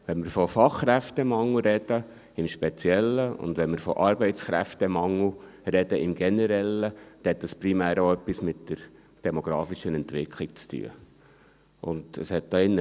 Im Speziellen, wenn wir von Fachkräftemangel sprechen, und im Generellen, wenn wir von Arbeitskräftemangel sprechen, dann hat das primär auch etwas mit der demografischen Entwicklung zu tun.